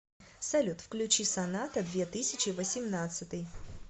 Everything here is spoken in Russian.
салют включи соната две тысячи восемнадцатый